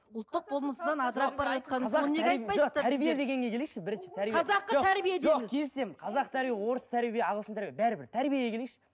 ұлттық болмысынан келісемін қазақы тәрбие орыс тәрбие ағылшын тәрбие бәрібір тәрбиеге келейікші